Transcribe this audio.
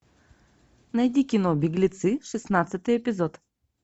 найди кино беглецы шестнадцатый эпизод